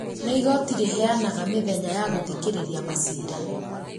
nĩ igooti rĩheanaga mĩthenya ya gũthikĩrĩria maciira